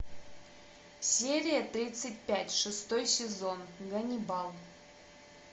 серия тридцать пять шестой сезон ганнибал